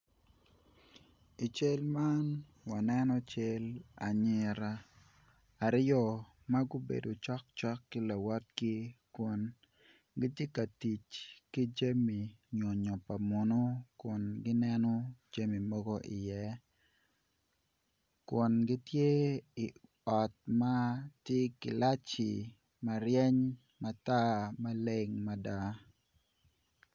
I cal man waneno cal anyira aryo ma gubedo cokcok ki lawotgi kun gitye ka tic ki jami nyonyo pa muno kun gineno jami mogo iye kun gitye i ot man tye gilaci ma reny matar maleng mada.